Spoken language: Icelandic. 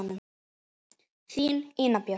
Þín, Ína Björk.